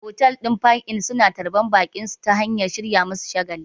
Otal ɗin park-in suna tarbar baƙinsu ta hanyar shirya musu shagali